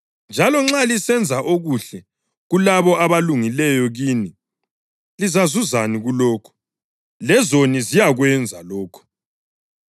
Njalo nxa lisenza okuhle kulabo abalungileyo kini, lizazuzani kulokho? Lezoni ziyakwenza lokho.